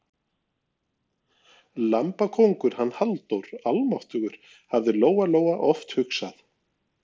Lambakóngur, hann Halldór, almáttugur, hafði Lóa Lóa oft hugsað.